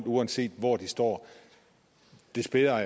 uanset hvor de står des bedre